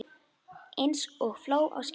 Eins og fló á skinni.